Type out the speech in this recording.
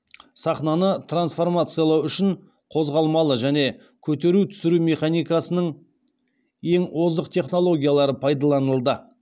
сахнаны трансформациялау үшін қозғалмалы және көтеру түсіру механикасының ең озық технологиялары пайдаланылды